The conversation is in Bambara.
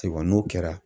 Seban n'o kɛra